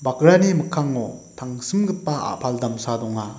bakrani mikkango tangsimgipa a·pal damsa donga.